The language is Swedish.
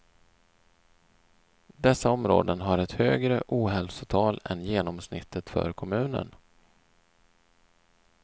Dessa områden har ett högre ohälsotal än genomsnittet för kommunen.